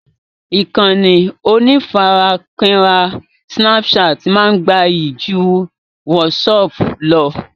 Ìkànnì onífarakínra "snapchat" máa gbayì ju "WhatsApp" lọ